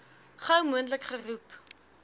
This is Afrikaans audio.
gou moontlik geroep